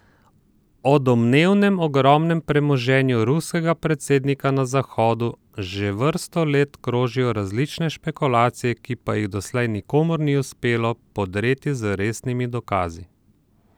O domnevnem ogromnem premoženju ruskega predsednika na Zahodu že vrsto let krožijo različne špekulacije, ki pa jih doslej nikomur ni uspelo podpreti z resnimi dokazi.